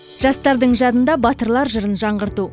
жастардың жадында батырлар жырын жаңғырту